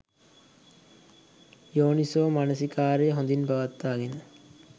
යෝනිසෝ මනසිකාරය හොඳින් පවත්වාගෙන